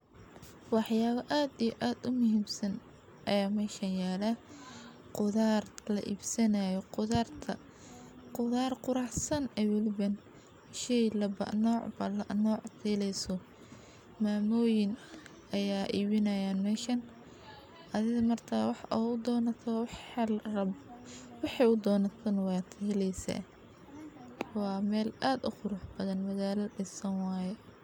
Waxyaabo aad iyo aad u miibsan ayaa mayhshayaal ah. Qudaar la ibsanayo qudaarta. Qudaar quraxsan ay walban hayshey laba nooc ba la nooc diileysu. Maamulkiin ayaa iwaynayaan mayshan. Adiga martaa wax u doonato hal rab wixii u doonatkan waqtigeliisa. Waa meel aad u khruuc badan madaara 10 saamaan ah.